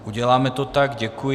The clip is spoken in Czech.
Ano, uděláme to tak, děkuji.